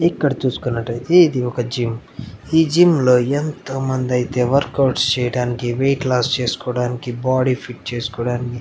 ఇక్కడ చూసుకున్నటయితే ఇది ఒక జిమ్ ఈ జిమ్ లో ఎంత మంది అయితే వర్కౌట్స్ చేయడానికి వెయిట్ లాస్ చేసుకోడానికి బాడీ ఫిట్ చేసుకోడానికి --